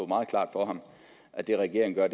meget klart for ham at det regeringen gør